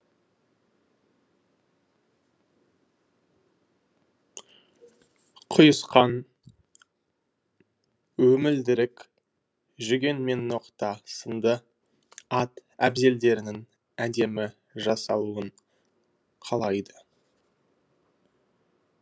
құйысқан өмілдірік жүген мен ноқта сынды ат әбзелдерінің әдемі жасалуын қалайды